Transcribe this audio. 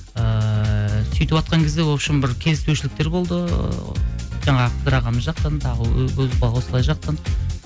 ыыы сөйтіватқан кезде вообщем бір келіспеушіліктер болды жаңағы бір ағамыз жақтан тағы жақтан